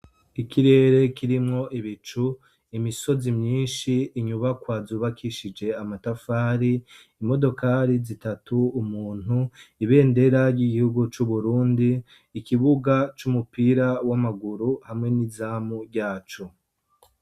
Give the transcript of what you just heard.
Ikirere kirimwo ibicu imisozi myinshi inyubako azubakishije amatafari imodokali zitatu umuntu ibendera ry'igihugu c'uburundi ikibuga c'umupira w'amaguru hamwe n'izamu ryacu.